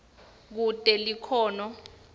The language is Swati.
kute likhono